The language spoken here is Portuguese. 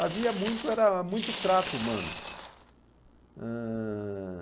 Havia muito era muito trato humano. Ãh...